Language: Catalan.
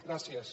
gràcies